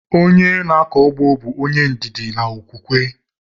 Onye na-akọ ụgbọ bụ onye ndidi na okwukwe